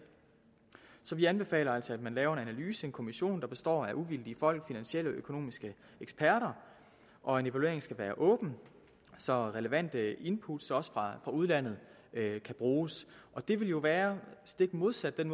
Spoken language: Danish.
så vi anbefaler altså at man laver en analyse en kommission der består af uvildige folk finansielle og økonomiske eksperter og en evaluering skal være åben så relevante input også fra udlandet kan bruges det vil jo være stik modsat den